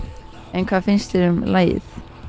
en hvað finnst þér um lagið